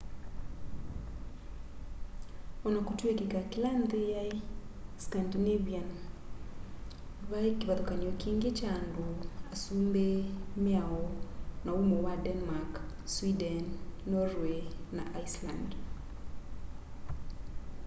onakutwika kila nthi yai scandinavian vai kivathukany'o kingi kya andu asumbi miao na umo wa denmark sweden norway na iceland